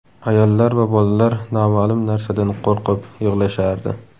Ayollar va bolalar noma’lum narsadan qo‘rqib, yig‘lashardi.